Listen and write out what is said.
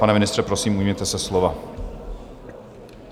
Pane ministře, prosím, ujměte se slova.